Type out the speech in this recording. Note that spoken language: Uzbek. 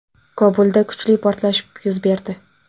Kobulda kuchli portlash yuz berdi.